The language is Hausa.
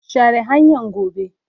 share hanyan gobe.